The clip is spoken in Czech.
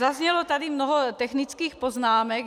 Zaznělo tady mnoho technických poznámek.